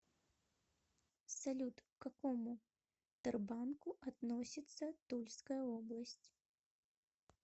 салют к какому тербанку относится тульская область